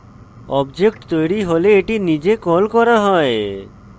object তৈরী হলে এটি নিজে কল করা হয়